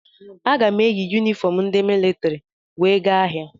Aga m eyi yunifọm ndị militrị wee gaa ahịa.